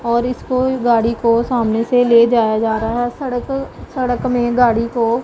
और इसको भी गाड़ी को सामने से ले जाया जा रहा है सड़क सड़क में गाड़ी को--